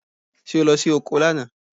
Ṣé o lọ sí oko lánàá?